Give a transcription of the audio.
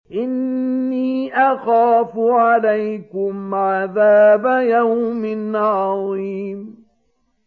إِنِّي أَخَافُ عَلَيْكُمْ عَذَابَ يَوْمٍ عَظِيمٍ